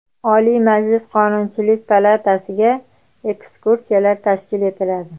Oliy Majlis Qonunchilik palatasiga ekskursiyalar tashkil etiladi.